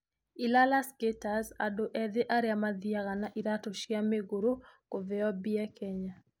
Ilala Skaters: Andũ ethĩ arĩa mathiaga na iratũ cia migurũ kũveo mbia Kenya